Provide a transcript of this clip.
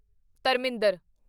Dharmendra